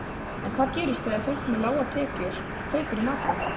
En hvað gerist þegar fólk með lágar tekjur kaupir í matinn?